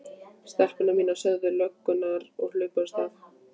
Stelpur mínar sögðu löggurnar og hlupu af stað.